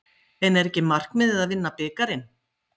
En er ekki markmiðið að vinna bikarinn?